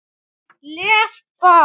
Les blað.